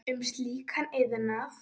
um slíkan iðnað.